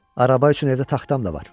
Araba üçün evdə taxtam da var.